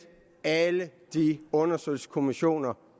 alle de undersøgelseskommissioner